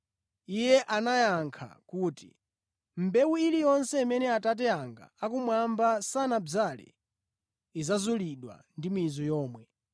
Iye anayankha kuti, “Mbewu iliyonse imene Atate anga akumwamba sanadzale idzazulidwa ndi mizu yomwe.